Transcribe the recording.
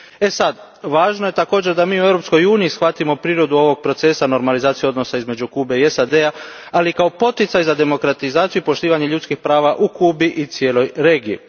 Sada, važno je da mi također u Europskoj uniji shvatimo prirodu ovog procesa normalizacije odnosa između Kube i SAD a, ali kao i poticaj za demokratizaciju i poštivanje ljudskih prava u Kubi i cijeloj regiji.